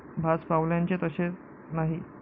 भाजपावाल्यांचे तसे नाही.